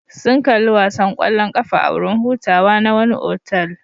Sun kalli wasan kwallon kafa a wurin hutawa na wani otal.